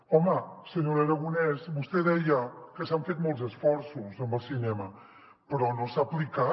home senyora aragonès vostè deia que s’han fet molts esforços amb el cinema però no s’ha aplicat